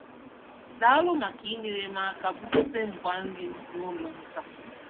Daalụ maka inyere m aka bugote ngwa nri m n'ụlọ m taa.